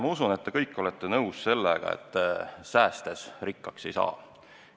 Ma usun, et te kõik olete nõus, et säästes rikkaks ei saa.